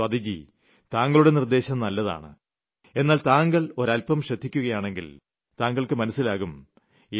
സ്വാതിജി താങ്കളുടെ നിർദ്ദേശം നല്ലതാണ് എന്നാൽ താങ്കൾ ഒരൽപ്പം ശ്രദ്ധിക്കുകയാണെങ്കിൽ താങ്കൾക്ക് മനസ്സിലാകും